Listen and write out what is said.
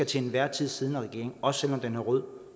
til enhver tid siddende regering også selv om den er rød